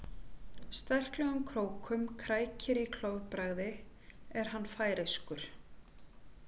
Sterklegum krókum krækir í klofbragði er hann færeyskur.